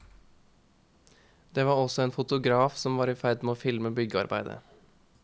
Det var også en fotograf, som var i ferd med å filme byggearbeidet.